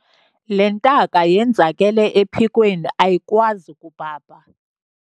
Le ntaka yenzakele ephikweni ayikwazi kubhabha.